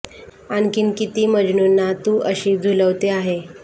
आणखीन किती मजनूंना तू अशी झुलवते आहे